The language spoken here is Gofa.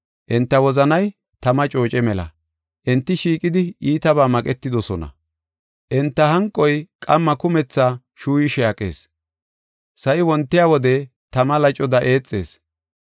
Enta wozanay tama cooce mela; enti shiiqidi iitabaa maqetidosona. Enta hanqoy qamma kumetha cuuyishe aqees; sa7i wontiya wode tama lacoda eexees.